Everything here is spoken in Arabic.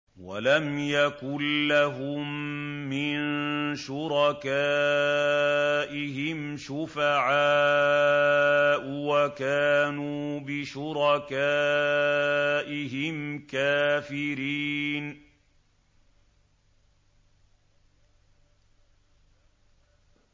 وَلَمْ يَكُن لَّهُم مِّن شُرَكَائِهِمْ شُفَعَاءُ وَكَانُوا بِشُرَكَائِهِمْ كَافِرِينَ